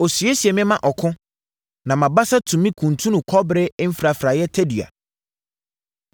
Ɔsiesie me ma ɔko; na mʼabasa tumi kuntunu kɔbere mfrafraeɛ tadua.